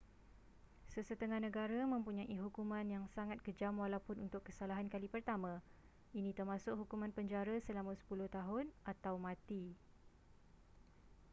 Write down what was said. sesetengah negara mempunyai hukuman yang sangat kejam walaupun untuk kesalahan kali pertama ini termasuk hukuman penjara selama 10 tahun atau mati